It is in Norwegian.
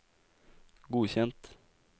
godkjent